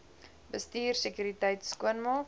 bestuur sekuriteit skoonmaak